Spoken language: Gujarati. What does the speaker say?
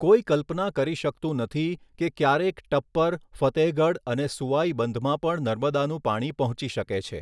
કોઈ કલ્પના કરી શકતું નથી કે ક્યારેક ટપ્પર, ફતેહગઢ અને સુવાઈ બંધમાં પણ નર્મદાનું પાણી પહોંચી શકે છે.